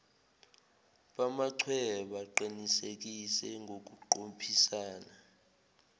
bamachweba qinisekise ngokuqophisana